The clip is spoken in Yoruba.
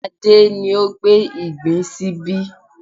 Adé ni ó gbé ìgbín sí ibí